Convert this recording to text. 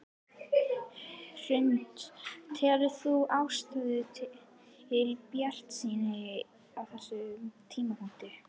Hrund: Telur þú ástæðu til bjartsýni á þessum tímapunkti?